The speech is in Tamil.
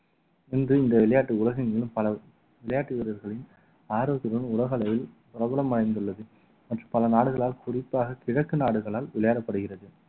இன்று இந்த விளையாட்டு உலகெங்கிலும் பல விளையாட்டு வீரர்களின் ஆரோக்கியத்துடன் உலக அளவில் பிரபலமடைந்துள்ளது மற்றும் பல நாடுகளால் குறிப்பாக கிழக்கு நாடுகளால் விளையாடப்படுகிறது